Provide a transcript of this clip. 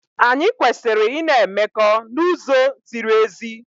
Anyị kwesịrị ị na-emekọ n'uzo ziri ezi.